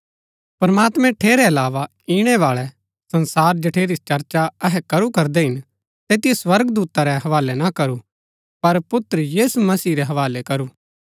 प्रमात्मैं ठेरै अलावा इणै बाळै संसार जठेरी चर्चा अहै करू करदै हिन तैतिओ स्वर्गदूता रै हवालै ना करू पर पुत्र यीशु मसीह रै हवालै करू